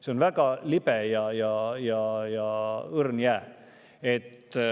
See on väga libe ja õrn jää.